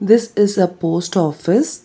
This is a post office.